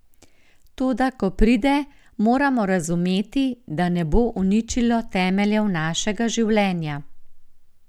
Toda ko pride, moramo razumeti, da ne bo uničilo temeljev našega življenja.